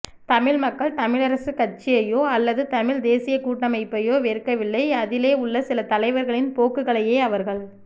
தமிழ் மக்கள் தமிழரசுக் கட்சியையோ அல்லது தமிழ்த் தேசியக் கூட்டமைப்பையோ வெறுக்கவில்லை அதிலே உள்ள சில தலைவர்களின் போக்குகளையே அவர்கள்